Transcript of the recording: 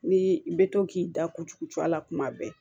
Ni i bɛ to k'i da kutuku la kuma bɛɛ